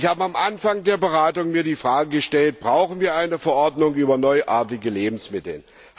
Ich habe mir am Anfang der Beratungen die Frage gestellt Brauchen wir eine Verordnung über neuartige Lebensmittel?